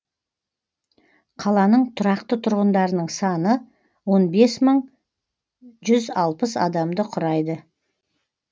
қаланың тұрақты тұрғындарының саны он бес мың жүз алпыс адамды құрайды